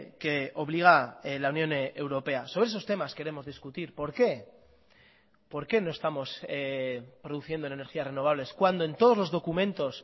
que obliga la unión europea sobre esos temas queremos discutir por qué por qué no estamos produciendo en energías renovables cuando en todos los documentos